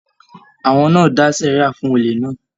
Àwọn náà dà sẹria fún òlè náà.